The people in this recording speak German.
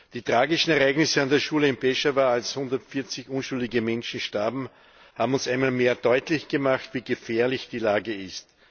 Die tragischen Ereignisse an der Schule in Peschawar, als 140 unschuldige Menschen starben, haben uns einmal mehr deutlich gemacht, wie gefährlich die Lage ist.